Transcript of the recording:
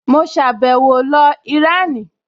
Mo sàbẹ̀wo lọ Ìránì